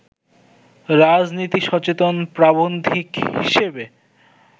রাজনীতিসচেতন প্রাবন্ধিক হিসেবে